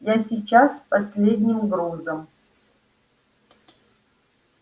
я сейчас с последним грузом